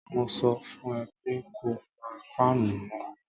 Mo sọ fún ẹ pé ko pa fáànù náà.